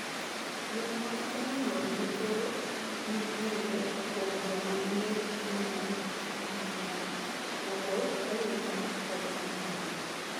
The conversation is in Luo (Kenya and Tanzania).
Yore mag komo nyuol mothoro ng'ere kuom joma mine gin mar sandan, raboo oyunga, kod amuonya.